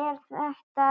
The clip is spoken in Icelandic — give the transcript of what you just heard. Er þetta